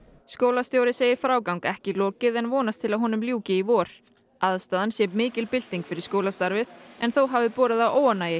skólastjóri segir frágangi ekki lokið en vonast til að honum ljúki í vor aðstaðan sé mikil bylting fyrir skólastarfið en þó hafi borið á óánægju